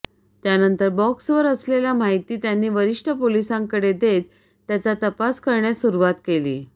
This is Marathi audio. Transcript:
त्यानंतर बॉक्सवर असलेल्या माहिती त्यांनी वरिष्ठ पोलिसांकडे देत त्याचा तपास करण्यास सुरुवात केली